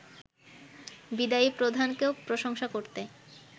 বিদায়ী প্রধানকেও প্রশংসা করতে